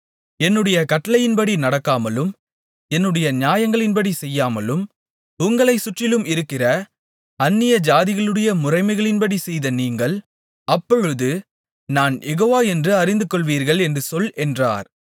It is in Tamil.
என்னுடைய கட்டளையின்படி நடக்காமலும் என்னுடைய நியாயங்களின்படி செய்யாமலும் உங்களைச் சுற்றிலும் இருக்கிற அந்நியஜாதிகளுடைய முறைமைகளின்படி செய்த நீங்கள் அப்பொழுது நான் யெகோவா என்று அறிந்துகொள்வீர்கள் என்று சொல் என்றார்